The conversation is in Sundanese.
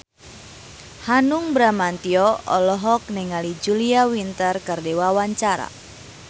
Hanung Bramantyo olohok ningali Julia Winter keur diwawancara